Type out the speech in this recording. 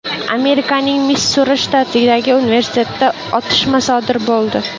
Amerikaning Missuri shtatidagi universitetda otishma sodir bo‘ldi.